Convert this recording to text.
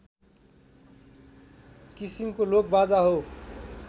किसिमको लोकबाजा हो